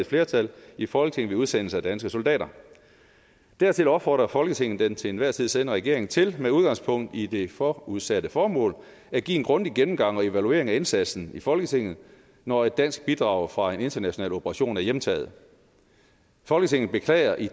flertal i folketinget ved udsendelse af danske soldater dertil opfordrer folketinget den til enhver tid siddende regering til med udgangspunkt i det forudsatte formål at give en grundig gennemgang og evaluering af indsatsen i folketinget når et dansk bidrag fra en international operation er hjemtaget folketinget beklager i